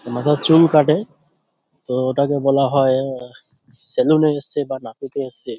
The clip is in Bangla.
মাথার চুল কাটে তো ওটাকে বলা হয় সেলুন -এ এসছে বা নাপিতে এসছে।